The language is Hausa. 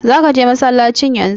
Zaka je masallacin yanzu?